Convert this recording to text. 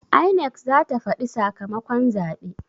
INEC zata faɗi sakamakon zaɓe